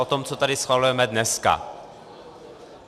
O tom, co tady schvalujeme dneska.